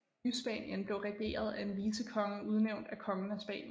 Nyspanien blev regeret af en vicekonge udnævnt af kongen af Spanien